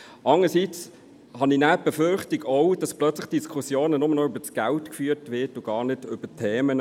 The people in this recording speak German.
Allerdings habe ich auch die Befürchtung, dass die Diskussion nur noch über das Geld geführt wird und gar nicht über die Themen.